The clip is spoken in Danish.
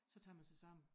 Så tager man sig sammen